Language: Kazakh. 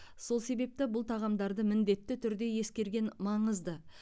сол себепті бұл тағамдарды міндетті түрде ескерген маңызды